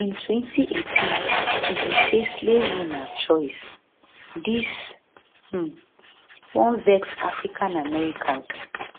in 2018 e bin say slavery na choice dis um wan vex africa americans